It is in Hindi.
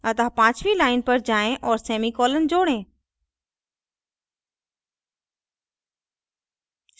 अतः पाँचवी line पर जाएँ और सेमी कॉलन जोड़ें